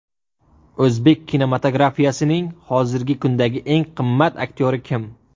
O‘zbek kinematografiyasining hozirgi kundagi eng qimmat aktyori kim?